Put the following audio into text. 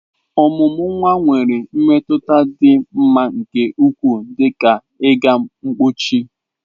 Ọmụmụ nwa nwere mmetụta dị m mma nke ukwuu, dị ka ịga mpochi.